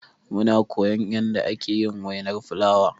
Muna koyan yanda ake yin wainar fulawa.